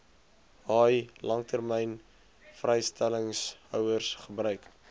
haai langlynvrystellingshouers gebruik